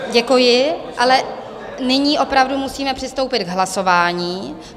Děkuji, ale nyní opravdu musíme přistoupit k hlasování.